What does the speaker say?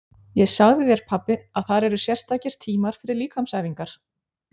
Ég sagði þér pabbi að þar eru sérstakir tímar fyrir líkamsæfingar.